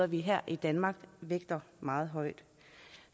vi her i danmark vægter meget højt